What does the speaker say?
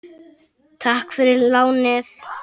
Takk fyrir lánið!